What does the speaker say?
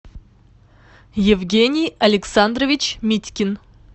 евгений александрович митькин